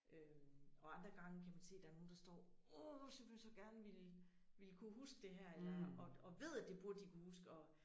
Øh og andre gange kan man se der er nogen der står simpelthen så gerne ville ville kunne huske det her og ved at det burde de kunne huske og